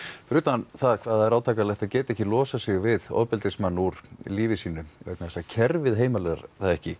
fyrir utan hvað það er átakanlegt að geta ekki losað sig við ofbeldismann úr lífi sínu vegna þess að kerfið heimilar það ekki